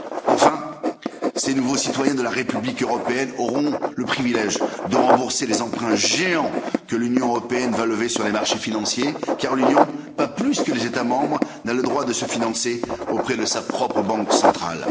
Enfin, ces nouveaux citoyens de la République européenne auront le privilège de rembourser les emprunts géants que l'Union européenne va lever sur les marchés financiers car l'Union, pas plus que les États membres, n'a le droit de se financer auprès de sa propre Banque centrale.